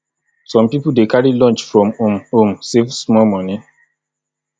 some pipo dey carry lunch from home home save small money